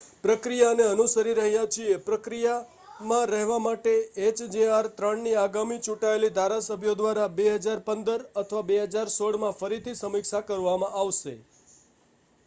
પ્રક્રિયાને અનુસરીરહ્યા છીએ પ્રક્રિયામાં રહેવા માટે એચજેઆર -3 ની આગામી ચૂંટાયેલી ધારાસભ્યો દ્વારા 2015 અથવા 2016 માં ફરીથી સમીક્ષા કરવામાં આવશે